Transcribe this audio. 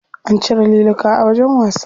An cire liluka a wajen wasa.